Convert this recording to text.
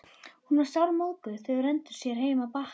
Hún var sármóðguð þegar þau renndu heim að Bakka.